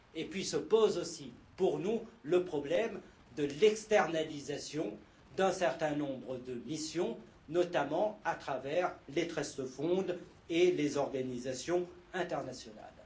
Puis se pose aussi, pour nous, le problème de l'externalisation d'un certain nombre de missions, notamment à travers les fonds fiduciaires et les organisations internationales.